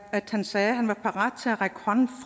at han sagde at han var parat til at række hånden